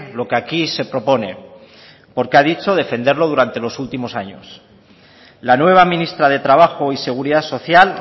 lo que aquí se propone porque ha dicho defenderlo durante los últimos años la nueva ministra de trabajo y seguridad social